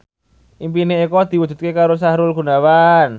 impine Eko diwujudke karo Sahrul Gunawan